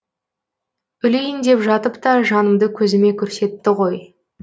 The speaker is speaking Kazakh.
өлейін деп жатып та жанымды көзіме көрсетті ғой